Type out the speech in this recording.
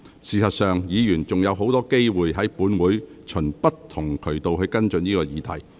事實上，議員仍然有很多機會，在本會循不同渠道跟進這個議題。